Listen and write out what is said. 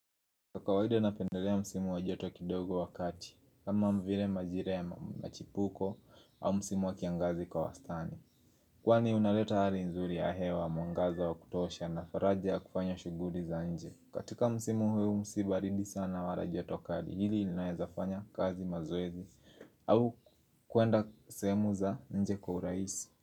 Kwa kawaida napendelea msimu wa joto kidogo wa kati, kama vile majira ya machipuko au msimu wa kiangazi kwa wastani Kwani unaleta hali nzuri ya hewa, mwangaza wa kutosha na faraja ya kufanya shughuli za nje. Katika msimu huu si baridi sana wala joto kali, hili ilinaweza fanya kazi, mazoezi au kuenda sehemu za nje kwa uraisi.